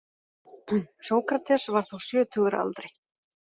Sókrates var þá sjötugur að aldri.